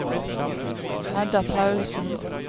Hedda Paulsen